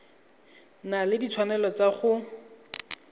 na le ditshwanelo tsa go